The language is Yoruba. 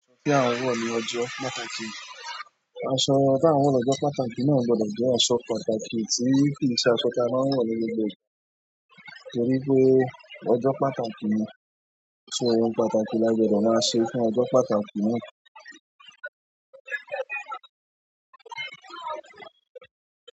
Aṣọ tí a ń wọ̀ ní ọjọ́ pàtàkì. Aṣọ tí a ń wọ̀ ní ọjọ́ pàtàkì náà gbọdọ̀ jẹ́ aṣọ pàtàkì tí kì í ṣe aṣọ tí a máa ń wọ̀ ní gbogbo ìgbà, nítorí pé ọjọ́ pàtàkì ni, ṣo ohun pàtàkì lágbodo máa ṣe fún ọjọ́ pàtàkì náà.